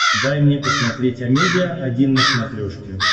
дай мне посмотреть амедиа один на смотрешке